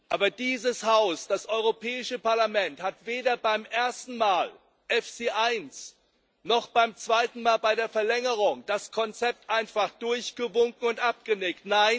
Aber dieses Haus, das Europäische Parlament, hat weder beim ersten Mal beiEFSI I, noch beim zweiten Mal, bei der Verlängerung, das Konzept einfach durchgewunken und abgenickt.